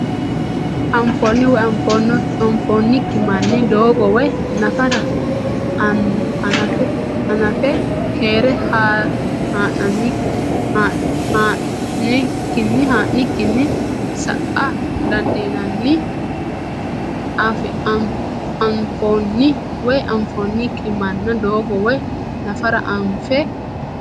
Anfoonni woy anfoonnikki manna doogo woy nafara anfe keere haa nikkinni sa a didandiinanni Anfoonni woy anfoonnikki manna doogo woy nafara anfe.